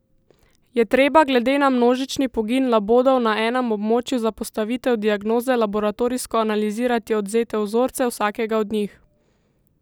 Je treba glede na množični pogin labodov na enem območju za postavitev diagnoze laboratorijsko analizirati odvzete vzorce vsakega od njih?